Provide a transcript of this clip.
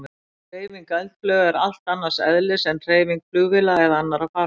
Hreyfing eldflauga er allt annars eðlis en hreyfing flugvéla eða annarra farartækja.